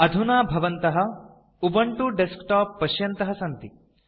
अधुना भवन्तः Ubuntu desktop पश्यन्तः सन्ति